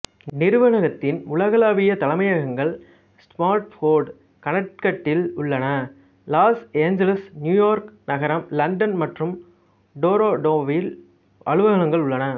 நிறுவனத்தின் உலகளாவிய தலைமையகங்கள் ஸ்டாம்ஃபோர்டு கனெக்டிகட்டில் உள்ளன லாஸ் ஏஞ்சல்ஸ் நியூயோர்க் நகரம் லண்டன் மற்றும் டொரோன்டோவில் அலுவலகங்கள் உள்ளன